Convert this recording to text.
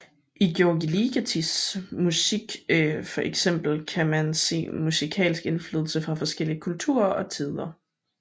I György Ligetis musik for eksempel kan man se musikalsk indflydelse fra forskellige kulturer og tider